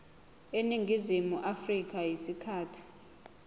eningizimu afrika isikhathi